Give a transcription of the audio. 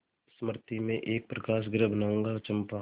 मृति में एक प्रकाशगृह बनाऊंगा चंपा